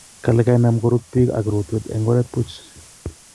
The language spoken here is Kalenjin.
kale kainam korut piik ak rotwet en oreet puch